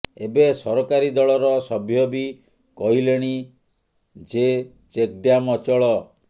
ଏବେ ସରକାରୀ ଦଳର ସଭ୍ୟ ବି କହିଲେଣି େଯ େଚକ୍ ଡ୍ୟାମ୍ ଅଚଳ